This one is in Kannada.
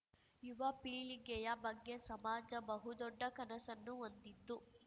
ಯುವ ಪೀಳಿಗೆಯ ಬಗ್ಗೆ ಸಮಾಜ ಬಹು ದೊಡ್ಡ ಕನಸನ್ನು ಹೊಂದಿದ್ದು